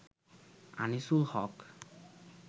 Anisul Haque